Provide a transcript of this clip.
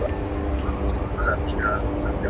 Og þá þurfum við að hafa þig og þína menn inni í bænum.